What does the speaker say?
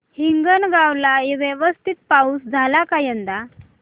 हिंगणगाव ला व्यवस्थित पाऊस झाला का यंदा